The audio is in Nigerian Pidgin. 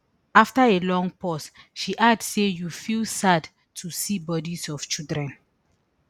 afta a long pause she add say you feel sad to see bodies of children